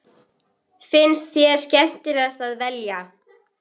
Hvað finnst þér skemmtilegast að velja?